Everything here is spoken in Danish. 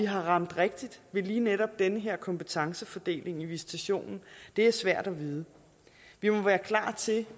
har ramt rigtigt ved lige netop den her kompetencefordeling i visitationen er svært at vide vi må være klar til